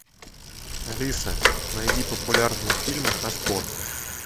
алиса найди популярные фильмы о спорте